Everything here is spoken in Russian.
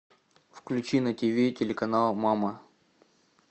включи на тв телеканал мама